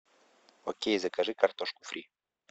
окей закажи картошку фри